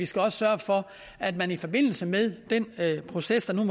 skal sørge for at man i forbindelse med den proces der nu